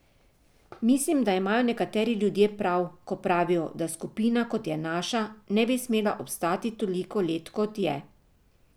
Mislim, da imajo nekateri ljudje prav, ko pravijo, da skupina, kot je naša, ne bi smela obstati toliko let kot je.